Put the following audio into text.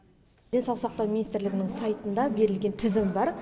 денсаулық сақтау министрлігінің сайтында берілген тізім бар